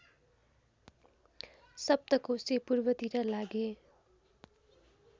सप्तकोशी पूर्वतिर लागे